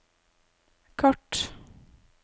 kart